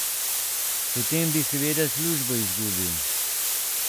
Potem bi seveda službo izgubil.